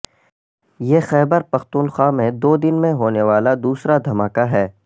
یہ خیبر پختونخوا میں دو دن میں ہونے والا دوسرا دھماکہ ہے